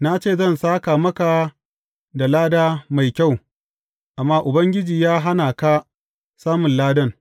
Na ce zan sāka maka da lada mai kyau, amma Ubangiji ya hana ka samun ladan.